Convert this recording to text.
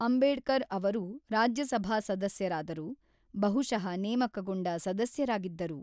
ಅಂಬೇಡ್ಕರ್ ಅವರು ರಾಜ್ಯಸಭಾ ಸದಸ್ಯರಾದರು, ಬಹುಶಃ ನೇಮಕಗೊಂಡ ಸದಸ್ಯರಾಗಿದ್ದರು.